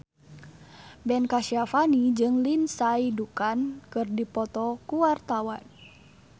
Ben Kasyafani jeung Lindsay Ducan keur dipoto ku wartawan